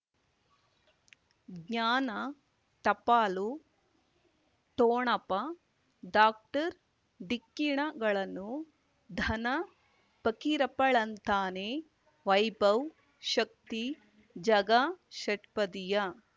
ಜ್ಞಾನ ಟಪಾಲು ಠೊಣಪ ಡಾಕ್ಟರ್ ಢಿಕ್ಕಿ ಣಗಳನು ಧನ ಫಕೀರಪ್ಪ ಳಂತಾನೆ ವೈಭವ್ ಶಕ್ತಿ ಝಗಾ ಷಟ್ಪದಿಯ